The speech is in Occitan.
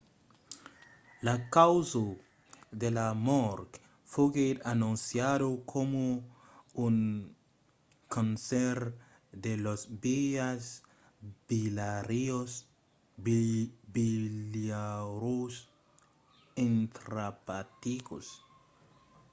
la causa de la mòrt foguèt anonciada coma un cancèr de las vias biliaras intraepaticas